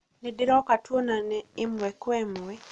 nĩndĩroka twonane ĩmwe kwa ĩmwe